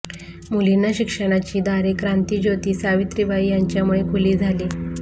मुलींना शिक्षणाची दारे क्रांतिज्योती सावित्रीबाई यांच्यामुळे खुली झाली